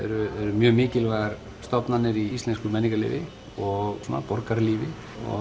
mjög mikilvægar stofnanir í íslensku menningarlífi og borgaralífi